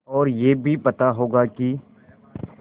और यह भी पता होगा कि